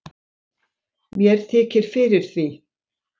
Mér þykir fyrir því.